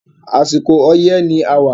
Àsìkò ọyẹ́ la wà